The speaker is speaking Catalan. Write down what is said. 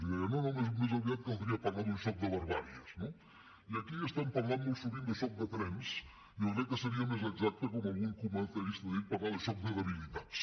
i deia no no més aviat caldria parlar d’un xoc de barbàries no i aquí parlem molt sovint de xoc de trens i jo crec que seria més exacte com algun comentarista ha dit parlar de xoc de debilitats